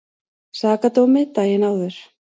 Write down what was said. Sakadómi daginn áður.